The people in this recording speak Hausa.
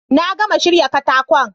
Na gama shirya katakon